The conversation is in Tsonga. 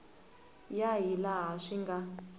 ya hi laha swi nga